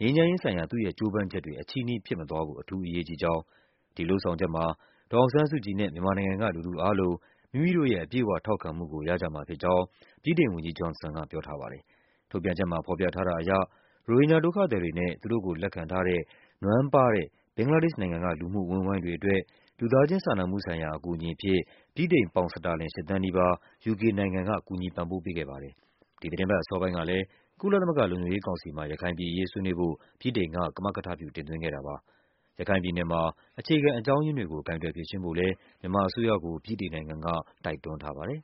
ငြိမ်းချမ်းရေးဆိုင်ရာ သူ့ရဲ့ ကြိုးပမ်း ချက်တွေ အချည်းနှီး ဖြစ်မသွားဖို့ အထူး အရေးကြီးကြောင်း၊ ဒီလုပ်ဆောင်ချက်မှာ ဒေါ်အောင်ဆန်းစုကြည်နဲ့ မြန်မာနိုင်ငံက လူထုအားလုံး မိမိတို့ရဲ့ အပြည့်အ၀ ထောက်ခံ မှုကို ရကြမှာဖြစ်ကြောင်း ဝန်ကြီး Johnson ကပြောထားပါတယ်။ ထုတ်ပြန်ချက်မှာ ဖော်ပြထားတာအရ ရိုဟင်ဂျာဒုက္ခသည်တွေနဲ့ သူတို့ကို လက်ခံထားတဲ့ နွမ်းပါးတဲ့ ဘင်္ဂလားဒေ့ရှ်နိုင်ငံက လူမှု အဝန်းအဝိုင်းတွေအတွက် လူသားချင်း စာနာမှု ဆိုင်ရာ အကူအညီအဖြစ် ဗြိတိန်ပေါင်စတာလင် ၈ သန်းနီးပါး UK နိုင်ငံက ကူညီပံ့ပိုး ခဲ့ပါတယ်။ ဒီသီတင်းပတ် အစောပိုင်းကလဲ ကုလသမဂ္ဂလုံခြုံရေးကောင်စီမှာ ရခိုင်ပြည် အရေး ဆွေးနွေးဖို့ ဗြိတိန်က ကမကထပြု တင်သွင်းခဲ့တာပါ။ ရခိုင်ပြည်နယ်မှာ အခြေခံအကြောင်းရင်းတွေကို ကိုင်တွယ်ဖြေရှင်းဖို့လဲ မြန်မာအစိုးရကို ဗြိတိန်နိုင်ငံက တိုက်တွန်းထားပါတယ်